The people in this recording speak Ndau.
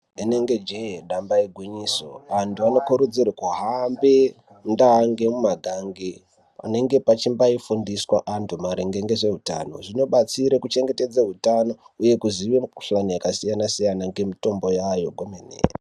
Rinenge jee damba igwinyiso antu vanokurudzirwe kuhambe mundaa nemumagange. Panenge pachimbai fundiswa antu maringe ngehutano zvinobatsire kuchengetedze hutano, uye kuzinye mikuhlani yakasiyana-siyana ngemitombo yayo kwemene.